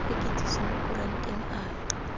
ka kitsiso mo kuranteng a